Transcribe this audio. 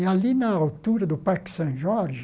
E ali na altura do Parque São Jorge,